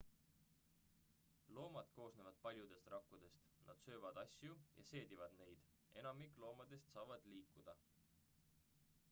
loomad koosnevad paljudest rakkudest nad söövad asju ja seedivad neid enamik loomadest saavad liikuda